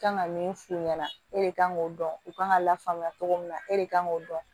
Kan ka min f'u ɲɛna e de kan k'o dɔn u kan ka lafaamuya cogo min na e de kan k'o dɔn